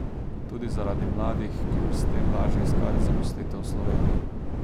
Tudi zaradi mladih, ki bi s tem lažje iskali zaposlitev v Sloveniji.